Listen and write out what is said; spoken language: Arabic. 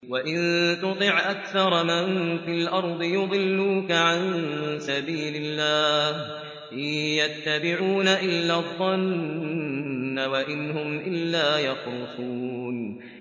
وَإِن تُطِعْ أَكْثَرَ مَن فِي الْأَرْضِ يُضِلُّوكَ عَن سَبِيلِ اللَّهِ ۚ إِن يَتَّبِعُونَ إِلَّا الظَّنَّ وَإِنْ هُمْ إِلَّا يَخْرُصُونَ